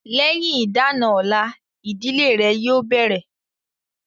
Lẹ́yìn ìdá-àna ọ̀la, ìdílé rẹ̀ yóò bẹ̀rẹ̀